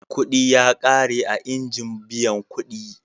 Kuɗi ya ƙare a injin biyan kuɗi.